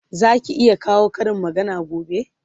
Zaki iya kawo Karin magana gobe?